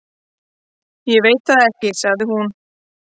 """Ég veit það ekki, sagði hún."""